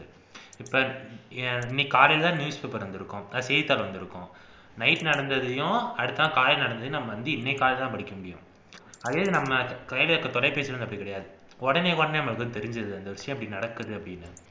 அஹ் இன்னைக்கு காலையிலதான் newspaper வந்திருக்கும் செய்தித்தாள் வந்திருக்கும் night நடந்ததையும் அடுத்தநாள் காலைல நடந்ததையும் நம்ம வந்து இன்னைக்கு காலைலதான் படிக்க முடியும் அதே இது நம்ம கைல இருக்கிற தொலைபேசி வந்து அப்படி கிடையாது உடனே உடனே நமக்கு தெரிஞ்சிருது இந்த விஷயம் இப்படி நடக்குது அப்படின்னு